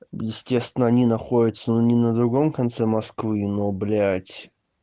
естественно они находится не на другом конце москвы но блядь